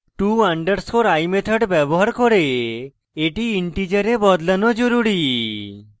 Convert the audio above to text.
to _ i method ব্যবহার করে এটি integer বদলানো জরুরী